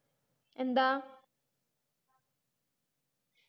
എന്താ